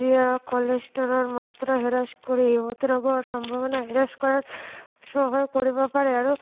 যিয়ে cholesterol মাত্ৰা হ্ৰাস কৰি মূত্ৰৰোগৰ সম্ভাৱনা হ্ৰাস কৰাৰ সহায় কৰিব পাৰে আৰু